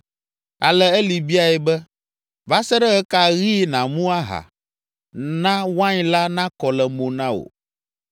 Ale Eli biae be, “Va se ɖe ɣe ka ɣi nàmu aha? Na wain la nakɔ le mo na wò.”